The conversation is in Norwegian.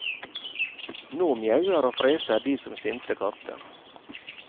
Nå mjauer og freser de som sinte katter.